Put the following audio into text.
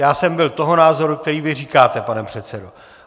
Já jsem byl toho názoru, který vy říkáte, pane předsedo.